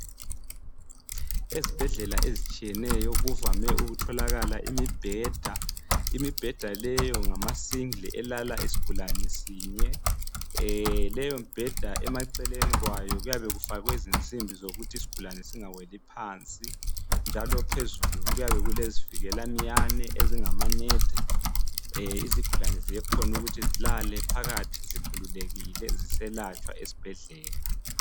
Ezibhedlela ezitshiyeneyo kuvame ukutholakala imibheda. Imibheda leyo ngamasingle elala isigulane sinye. Leyi mibheda emaceleni kwayo kuyabe kufakwe izinsimbi zokuthi isigulane singaweli phansi njalo phezulu kuyabe kulezivikela minyane ezingamanet izigulane ziyakhona ukuthi zilale phakathi zikhululekile ziselatshwa esibhedlela.